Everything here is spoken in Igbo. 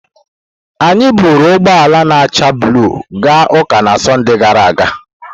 Anyị buuru ụgbọ ala na-acha blu gaa ụka na Sọnde gara aga.